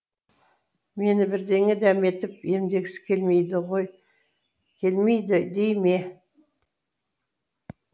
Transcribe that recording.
мені бірдеңе дәметіп емдегісі келмейді дей ме